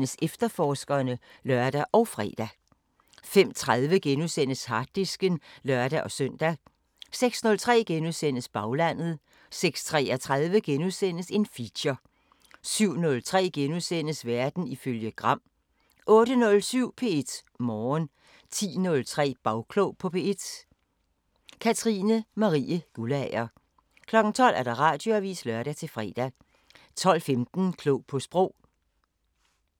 05:03: Efterforskerne *(lør og fre) 05:30: Harddisken *(lør-søn) 06:03: Baglandet * 06:33: Feature * 07:03: Verden ifølge Gram * 08:07: P1 Morgen 10:03: Bagklog på P1: Katrine Marie Guldager 12:00: Radioavisen (lør-fre) 12:15: Klog på Sprog